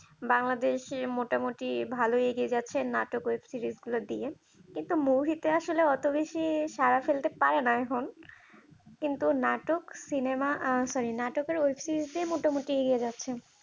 বাংলাদেশে মোটামুটি ভালই এগিয়ে যাচ্ছে নাটক web series গুলো দিয়ে কিন্তু অত বেশি সাড়া ফেলতে পারে না এখন কিন্তু নাটক সিনেমা আহ sorry নাটক আর web series দিয়ে মোটামুটি এগিয়ে যাচ্ছে।